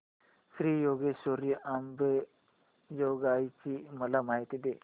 श्री योगेश्वरी अंबेजोगाई ची मला माहिती दे